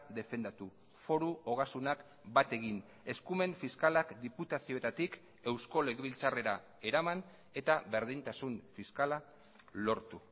defendatu foru ogasunak bat egin eskumen fiskalak diputazioetatik eusko legebiltzarrera eraman eta berdintasun fiskala lortu